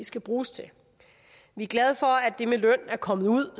skal bruges til vi er glade for at det med løn er kommet ud